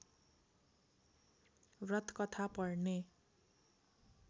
व्रतकथा पढ्ने